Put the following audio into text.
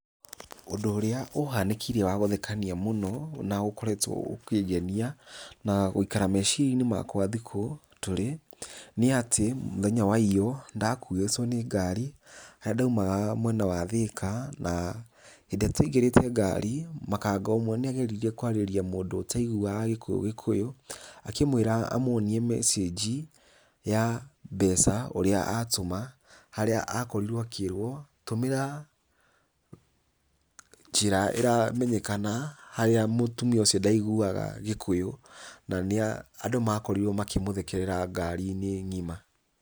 ũndũ ũrĩa ũhanĩkĩire wa gũthekania mũno, na ũkoretwo ũkĩngenia, na gũikara meciria - inĩ makwa thikũ tũrĩ, nĩ atĩ, mũthenya wa iyo, nĩ ndakuĩtwo nĩ ngari, harĩa ndaimaga mwena wa Thika, na hĩndĩ ĩria twaingĩrĩte ngari, makanga omwe nĩ ageririe kwarĩrĩa mũndũ ũtaiguaga gĩkũyũ, gĩkũyũ, akĩmwĩra amwonie mecĩnji ya mbeca ũria atũma, harĩa akorirwo akĩrwo, tũmĩra njĩra ĩramenyekana, harĩa mũtũmia ũcio ndaiguwaga gĩkũyũ, na nĩ a, andũ makorirwo makĩ mũthekerera ngari - inĩ ngima.